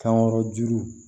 Kan wɛrɛ juru